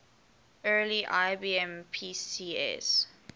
early ibm pcs